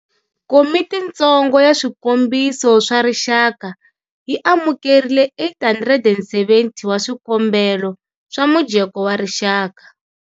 Komitintsongo ya Swikombiso swa Rixaka yi amukerile 870 wa swikombelo swa mujeko wa rixaka.